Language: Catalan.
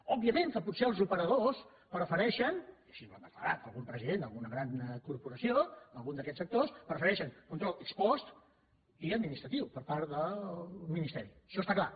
òbviament que potser els operadors prefereixen i així ho ha de·clarat algun president d’alguna gran corporació d’algun d’aquests sectors control ex postpart del ministeri això està clar